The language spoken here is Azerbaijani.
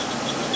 Vay, vay, vay.